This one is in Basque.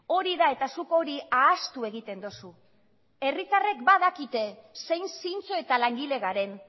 hori da eta zuk hori ahaztu egiten duzu herritarrek badakite zein zintzo eta langile garen